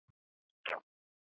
Hann las í hljóði